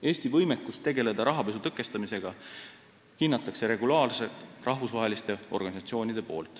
Eesti võimekust tegelda rahapesu tõkestamisega hindavad regulaarselt rahvusvahelised organisatsioonid.